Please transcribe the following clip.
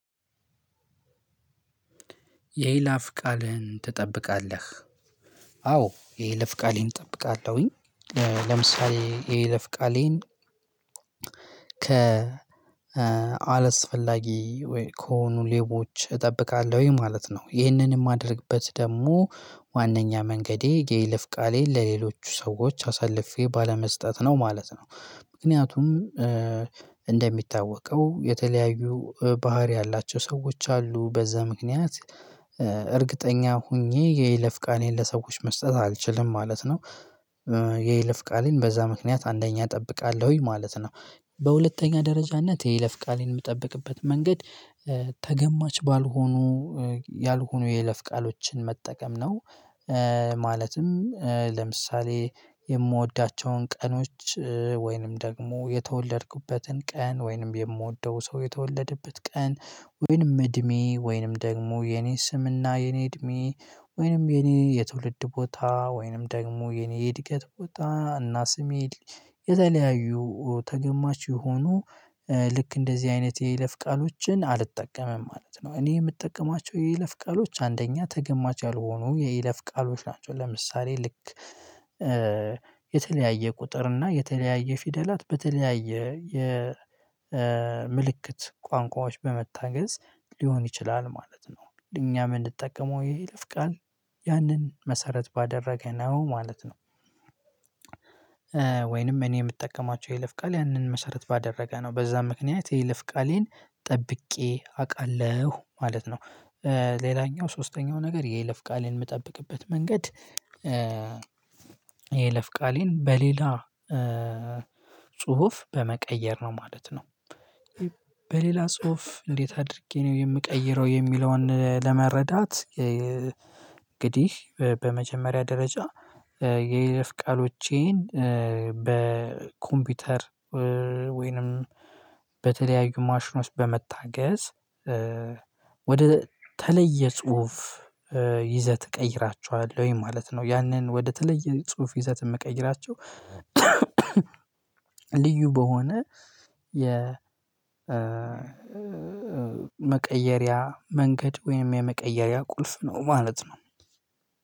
የይለፍ ቃልህን ትጠብቃለህ? አዎ የይለፍ ቃሌን እጠብቃለሁኝ ለምሳሌ የይለፍ ቃሌን ከ አላስፈላጊ ወይ ከሆኑ ሌቦች እጠብቃለሁ ማለት ነው። ይህንን የማደርግበት ደግሞ ዋናኛ መንገዴ የይለፍ ቃሌን ለሌሎቹ ሰዎች አሳልፌ ባለመስጠት ነው ማለት ነው። ምክንያቱም እንደሚታወቀው የተለያዩ ባህሪ ያላቸው ሰዎች አሉ። በዛ ምክንያት እርግጠኛ ሆኜ የይለፍ ቃሌን ለሰዎች መስጠት አልችልም ማለት ነው የይለፍ ቃሌን በዛ ምክንያት አንደኛ እጠብቃለሁኝ ማለት ነው። በሁለተኛ ደረጃነት የይለፍ ቃሌን የምጠብቅበት መንገድ ተገማች ባልሆኑ ያልሆኑ የይለፍ ቃሎችን መጠቀም ነው። ማለትም ለምሳሌ የምወዳቸውን ቀኖች ወይንም ደግሞ የተወለድኩበትን ቀን፣ ወይንም የምወደው ሰው የተወለደበት ቀን ወይንም እድሜ ወይንም ደግሞ የኔ ስምና የኔ እድሜ ወይንም የኔ የትውልድ ቦታ ወይንም ደግሞ የኔ እድገት ቦታ እና ስሜ የተለያዩ ተገማች የሆኑ ልክ እንደዚህ አይነት የይለፍ ቃሎችን አልጠቀምም ማለት ነው። እኔ የምጠቀማቸው የይለፍ ቃሎች አንደኛ ተገማች ያልሆኑ የይለፍ ቃሎች ናቸው ለምሳሌ ልክ የተለያየ ቁጥር እና የተለያየ ፊደላት በተለያየ የ ምልክት ቋንቋዎች በመታገዝ ሊሆን ይችላል ማለት ነው እኛም ምንጠቀመው የይለፍ ቃል ያንን መሰረት ባደረገ ነው ማለት ነው ወይንም እኔ የምጠቀማቸው የለፍ ቃል ያንን መሰረት ባደረገ ነው በዛ ምክንያት የይፍ ቃሌን ጠብቄ አቃለሁ ማለት ነው። ሌላኛው ሶስተኛው ነገር የይለፍ ቃሌን የምጠብቅበት መንገድ የይለፍ ቃሌን በሌላ ጽሁፍ በመቀየር ነው ማለት ነው። በሌላ ጽሁፍ እንዴት አድርጌ ነው የምቀይረው የሚለውን ለመረዳት እንግዲህ በመጀመሪያ ደረጃ የይለፍ ቃሎቼን በኮምፒውተር ወይንም በተለያዩ ማሽኖች በመታገዝ ወደ ተለየ ጽሁፍ ይዘት እቀይራቸዋለሁ ማለት ነው ያንን ወደተለየ ጽሁፍ ይዘት የምቀይራቸው በሆነ የ መቀየሪያ መንገድ ወይም የመቀየሪያ ቁልፍ ነው ማለት ነው።